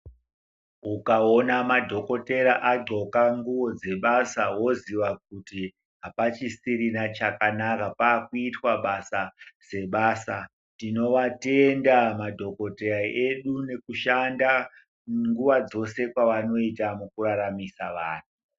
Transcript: Ukawona madhokoteya adxoka nguwo dzebasa woziya kuti hapachisirina chakanaka pakuitwa basa dzebasa. Tinowatenda madhokoteya edu nokushanda nguwa dzose panoita mukuraramisa vanhu.